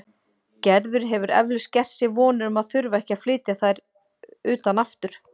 Gerður hefur eflaust gert sér vonir um að þurfa ekki að flytja þær utan aftur.